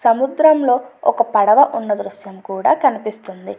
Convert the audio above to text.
సముద్రంలో ఒక పడవ కూడా ఉన్న దృశ్యం కనిపిస్తుంది.